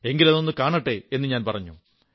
എങ്കിലതൊന്നു കാണട്ടെ എന്നു ഞാൻ പറഞ്ഞു